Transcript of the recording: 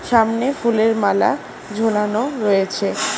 সামনে ফুলের মালা ঝোলানো রয়েছে।